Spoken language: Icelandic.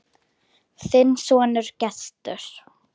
Þinn sonur, Gestur.